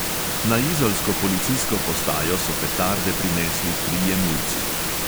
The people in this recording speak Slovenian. Na izolsko policijsko postajo so petarde prinesli trije mulci.